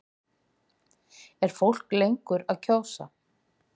Er fólk lengur að kjósa?